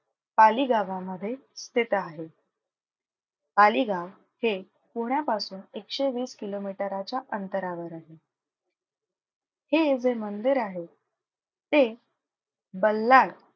पाली गावामध्ये स्थित आहे. पाली गाव हे पुण्यापासून एकशे वीस किलोमीटराच्या अंतरावर आहे. हे जे मंदिर आहे ते बल्लाळ,